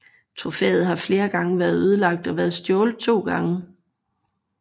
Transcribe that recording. Trofæet har flere gange været ødelagt og har været stjålet to gange